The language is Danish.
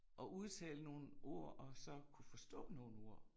Og udtale nogle ord og så kunne forstå nogle ord